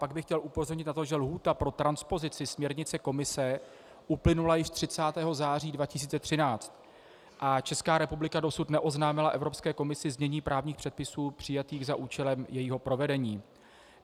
Pak bych chtěl upozornit na to, že lhůta pro transpozici směrnice Komise uplynula již 30. září 2013 a Česká republika dosud neoznámila Evropské komisi znění právních předpisů přijatých za účelem jejího provedení.